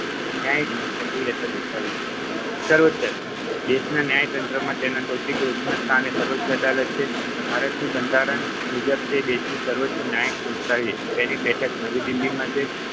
ન્યાયિક સક્રિયતા દર્શાવે છે. સર્વોચ્ય અદાલત દેશના ન્યાયતંત્રમાં તેના સૌથી ટોચના સ્થાને સર્વોચ્ય અદાલત છે. ભારતની બંધારણ મુજબ તે દેશની સર્વોચ્ય ન્યાયિક સંસ્થા છે. તેની બેઠક નવી દિલ્હીમાં છે.